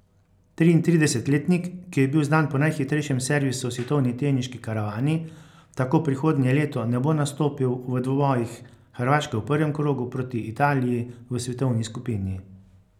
Triintridesetletnik, ki je bil znan po najhitrejšem servisu v svetovni teniški karavani, tako prihodnje leto ne bo nastopil v dvobojih Hrvaške v prvem krogu proti Italiji v svetovni skupini.